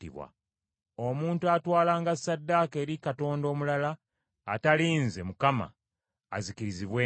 “Omuntu atwalanga ssaddaaka eri katonda omulala, atali nze Mukama , azikirizibwenga.